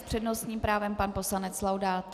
S přednostním právem pan poslanec Laudát.